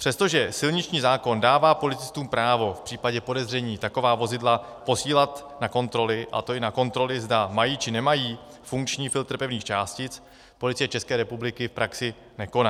Přestože silniční zákon dává policistům právo v případě podezření taková vozidla posílat na kontroly, a to i na kontroly, zda mají či nemají funkční filtr pevných částic, Policie České republiky v praxi nekoná.